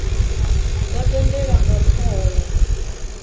dzo tendelwa nga thoho ya